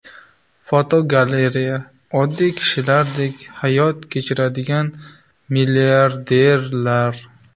Fotogalereya: Oddiy kishilardek hayot kechiradigan milliarderlar.